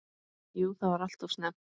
Jú það var alltof snemmt.